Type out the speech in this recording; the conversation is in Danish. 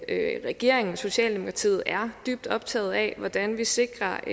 at regeringen og socialdemokratiet er dybt optaget af hvordan vi sikrer